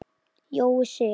Jói Sig.